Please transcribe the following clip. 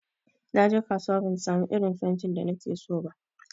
Naje kasuwa ban samu irin fentin da nakeso ba.